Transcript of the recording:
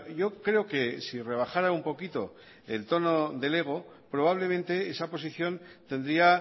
yo creo que si rebajara un poquito el tono del ego probablemente esa posición tendría